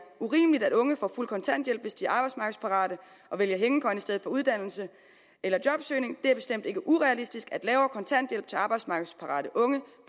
urimeligt at unge får fuld kontanthjælp hvis de er arbejdsmarkedsparate og vælger hængekøjen i stedet for uddannelse eller jobsøgning det er bestemt ikke urealistisk at lavere kontanthjælp til arbejdsmarkedsparate unge